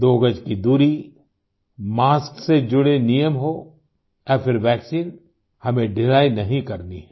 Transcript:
दो गज की दूरी मास्क से जुड़े नियम हों या फिर वैक्सीन हमें ढिलाई नहीं करनी है